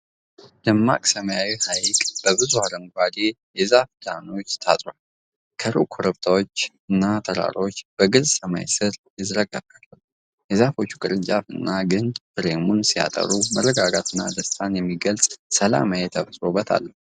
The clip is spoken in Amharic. ደማቅ ሰማያዊው ሐይቅ በብዙ አረንጓዴ የዛፍ ደኖች ታጥሯል። ከሩቅ ኮረብታዎችና ተራራዎች በግልጽ ሰማይ ስር ይዘረገፋሉ። የዛፎች ቅርንጫፎችና ግንድ ፍሬሙን ሲያጠሩ መረጋጋትን እና ደስታን የሚገልጽ ሰላማዊ የተፈጥሮ ውበት አለው።